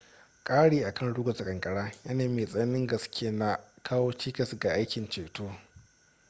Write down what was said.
kari akan ruguza kankara yanayin mai tsananin gaske na kawo cikas ga aikin ceto